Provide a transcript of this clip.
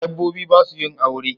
Dabobbi basu yin aure